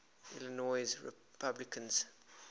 illinois republicans